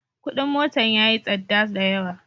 Kudin motan yayi tsadda da yawa.